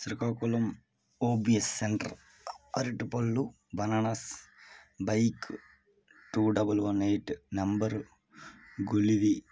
Srikakulam O B S centre అరటిపళ్ళు bananas bike two double one eight number గొలువి--